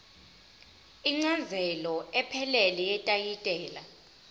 incazelo ephelele yetayitela